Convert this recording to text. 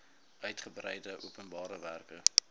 uigebreide openbare werke